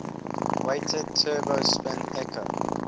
weighted turbo spin echo